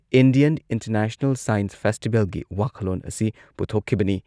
Indian international science ꯐꯦꯁꯇꯤꯚꯦꯜꯒꯤ ꯋꯥꯈꯜꯂꯣꯟ ꯑꯁꯤ ꯄꯨꯊꯣꯛꯈꯤꯕꯅꯤ꯫